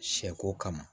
Sɛ ko kama